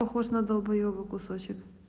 похож на долбоёба кусочек